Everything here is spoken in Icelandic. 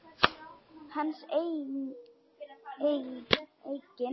Hans eigin?